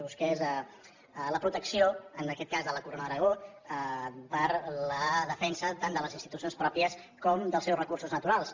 busqués la protecció en aquest cas de la corona d’aragó per a la defensa tant de les institucions pròpies com dels seus recursos naturals